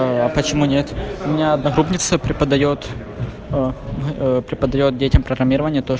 а почему нет у меня одногруппница преподаёт ээ преподаёт детям